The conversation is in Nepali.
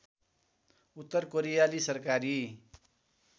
उत्तर कोरियाली सरकारी